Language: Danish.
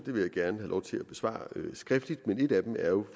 vil jeg gerne have lov til at besvare skriftligt men et af dem er jo